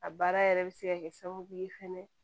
A baara yɛrɛ bɛ se ka kɛ sababu ye fɛnɛ